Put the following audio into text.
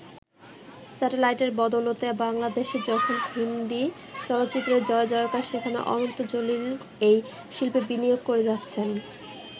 স্যাটেলাইটের বদৌলতে বাংলাদেশে যখন হিন্দি চলচ্চিত্রের জয়জয়কার সেখানে অনন্ত জলিল এই শিল্পে বিনিয়োগ করে যাচ্ছেন।